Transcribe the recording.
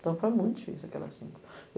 Então, foi muito difícil aquelas cinco.